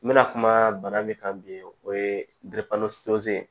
N bɛna kuma bana min kan bi o ye